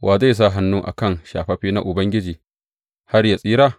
Wa zai sa hannu a kan shafaffe na Ubangiji, har yă tsira?